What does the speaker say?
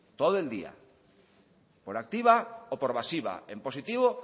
todo el día por activa o por pasiva en positivo